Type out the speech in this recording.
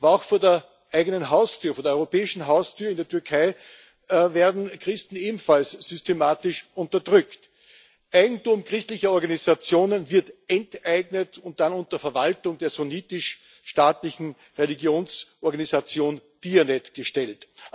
Aber auch vor der eigenen Haustür, vor der europäischen Haustür in der Türkei werden Christen ebenfalls systematisch unterdrückt. Eigentum christlicher Organisationen wird enteignet und dann unter Verwaltung der sunnitisch staatlichen Religionsorganisation Diyanet gestellt.